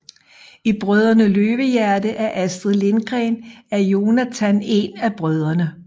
I Brødrene Løvehjerte af Astrid Lindgren er Jonatan en af brødrene